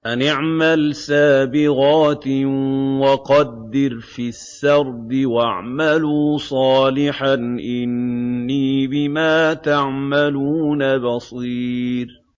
أَنِ اعْمَلْ سَابِغَاتٍ وَقَدِّرْ فِي السَّرْدِ ۖ وَاعْمَلُوا صَالِحًا ۖ إِنِّي بِمَا تَعْمَلُونَ بَصِيرٌ